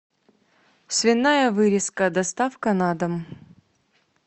свиная вырезка доставка на дом